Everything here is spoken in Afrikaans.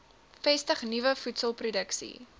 vestig nuwe voedselproduksie